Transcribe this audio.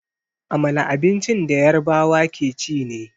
Amala abincin da Yarbawa ke ci ne.